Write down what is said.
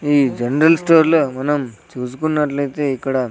ఈ general store లో మనం చూసుకున్నట్లయితే ఇక్కడ--